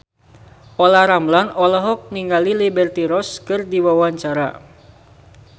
Olla Ramlan olohok ningali Liberty Ross keur diwawancara